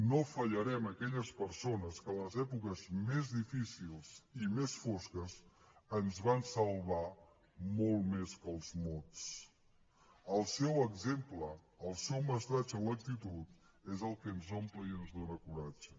no fallarem a aquelles persones que en les èpoques més difícils i més fosques ens van salvar molt més que els mots el seu exemple el seu mestratge en l’actitud és el que ens omple i ens dóna coratge